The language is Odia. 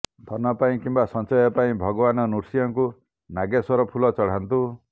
ଧନ ପାଇଁ କିମ୍ବା ସଞ୍ଚୟ ପାଇଁ ଭଗବାନ ନୃସିଂହଙ୍କୁ ନାଗେଶ୍ବର ଫୁଲ ଚଢାନ୍ତୁ